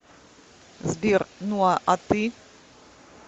сбер ну а ты